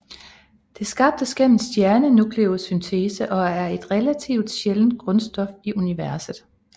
Det skabes gennem stjernenukleosyntese og er et relativt sjældent grundstof i universet